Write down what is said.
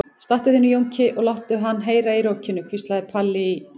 Stattu þig nú Jónki og láttu hann heyra í rokinu, hvíslaði Palli í